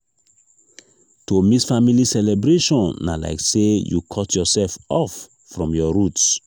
to miss family celebration na like sey you cut yoursef off from your roots.